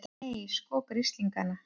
Nei, sko grislingana!